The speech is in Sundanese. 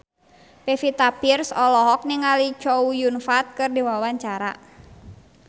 Pevita Pearce olohok ningali Chow Yun Fat keur diwawancara